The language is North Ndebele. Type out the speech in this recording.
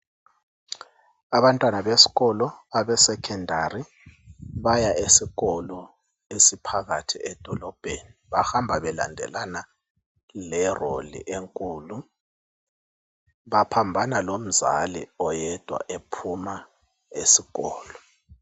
Abantwana besikolo abesekhondari baya esikolo esiphakathi edolobheni. Bahamba belandelana lelori enkulu. Baphambana lomzali oyedwa ephuma esikolo.